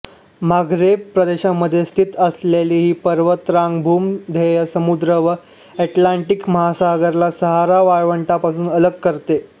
Maghreb प्रदेशामध्ये स्थित असलेली ही पर्वतरांग भूमध्य समुद्र व अटलांटिक महासागराला सहारा वाळवंटापासून अलग करते